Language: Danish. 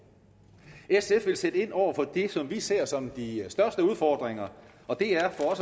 sf vil sætte ind over for det som vi ser som de største udfordringer og det er for